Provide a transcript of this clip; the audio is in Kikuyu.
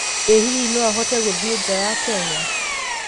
ĩ hihi no ahote guthiĩ nja wa Kenya?